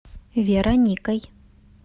вероникой